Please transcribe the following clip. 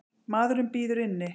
Maðurinn bíður inni.